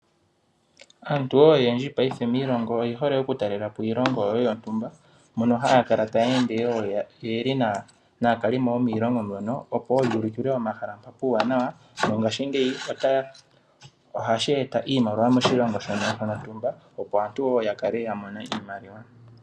Aantu oyendji paife miilongo oye hole okutalela po iilongo yontumba mono haya kala taya ende naakalimo yomiilongo mono, opo yu ulukilwe pomahala mpono puuwanawa. Mongashingeyi ohashi eta iimaliwa moshilongo shono shontumba, opo aantu wo ya kale ya mona iimaliwa.